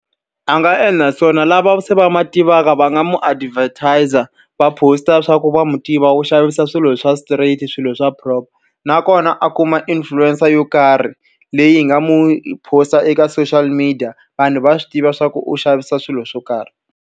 A nga endla swona lava se va ma tivaka va nga n'wi advertiser-a, va post--a leswaku va n'wi tiva u xavisa swilo swa straight, swilo swa proper. Nakona a kuma influencer yo karhi leyi hi nga n'wi post-a eka social media, vanhu va swi tiva leswaku u xavisa swilo swo karhi.